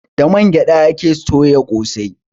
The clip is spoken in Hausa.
Da man gyaɗa ake soya ƙosai.